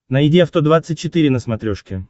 найди авто двадцать четыре на смотрешке